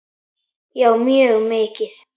Já mjög mikið.